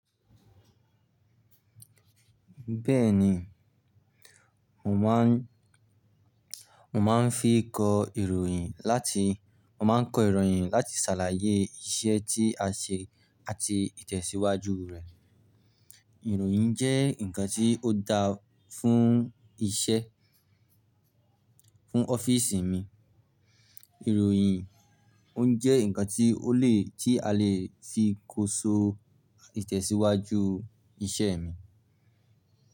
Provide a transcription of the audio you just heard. Bẹ́ẹ̀ni, mo máa ń, mo máa ń fi kọ ìròyìn láti, mo máa ń kọ ìròyìn láti ṣàlàyé iṣẹ́ tí a ṣe àti ìtẹ̀síwájú rẹ̀, ìròyìn jẹ́ ǹkan tí ó dáa fún iṣẹ́ fún ọ́fíìsì mi. Ìròyìn ó ń jẹ́ ǹkan tí ó le, tí a lè fi kóso ìtẹ̀síwájú iṣẹ́ mi.